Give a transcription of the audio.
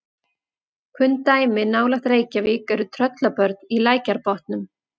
Kunn dæmi nálægt Reykjavík eru Tröllabörn í Lækjarbotnum.